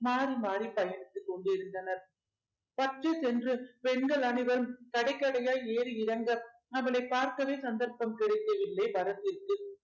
மாறி மாறி பயணித்துக் கொண்டிருந்தனர் purchase என்று பெண்கள் அனைவரும் கடை கடையாய் ஏறி இறங்க அவளை பார்க்கவே சந்தர்ப்பம் கிடைக்கவில்லை பரத்திற்கு